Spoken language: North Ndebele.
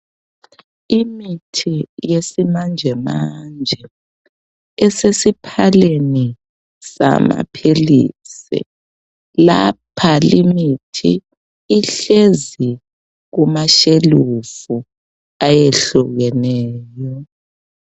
Imithi yesimanjemanje esesiphaleni samaphilisi lapha limithi ihlezi kumashelufu ayehlukeneyo.